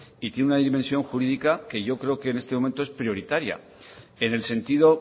y tiene una dimensión jurídica que yo creo que en estos momentos es prioritaria en el sentido